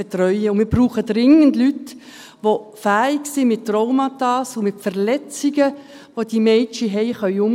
Wir brauchen dringend Leute, die fähig sind, mit Traumata und Verletzungen umzugehen, die diese Mädchen haben.